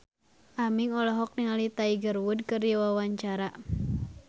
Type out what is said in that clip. Aming olohok ningali Tiger Wood keur diwawancara